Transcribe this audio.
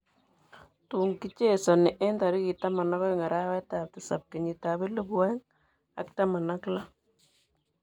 Tun kechezani eng tarik 12:07:2016.